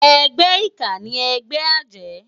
Ègbè iká ni ègbè àjë